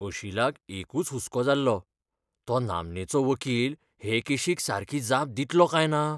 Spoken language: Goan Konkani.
अशीलाक एकूच हुस्को जाल्लो, तो नामनेचो वकील हे केशीक सारकी जाप दितलो काय ना?